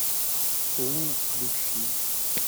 лу включи